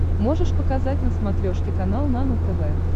можешь показать на смотрешке канал нано тв